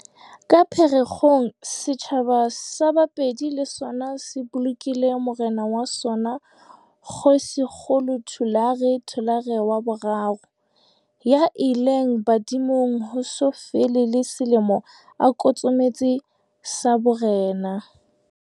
Ka Phe rekgong, setjhaba sa Bapedi le sona se bolokile morena wa sona Kgoshikgolo Thulare Thulare wa boraro, ya ileng badimong ho so fele le selemo a kotsometse sa borena.